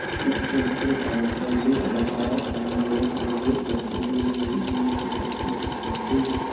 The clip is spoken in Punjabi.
ਇਸ ਪ੍ਰਤਿਭਾਸ਼ਾਲੀ ਅਦਾਕਾਰ ਹਨ ਜੋ ਸੋਵੀਅਤ ਬੱਚੇ ਦੇ ਦਹਿ ਦੀ ਸਿਫਤ ਦੀ ਕਿਸਮਤ ਸੀ